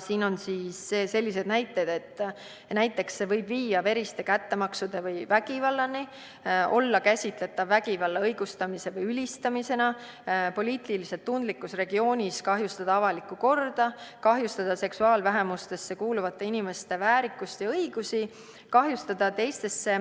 Siin on sellised näited: võib viia veriste kättemaksude või vägivallani, olla käsitletav vägivalla õigustamise või ülistamisena, kahjustada poliitiliselt tundlikus regioonis avalikku korda, kahjustada seksuaalvähemuste hulka kuuluvate inimeste väärikust ja õigusi, kahjustada teistesse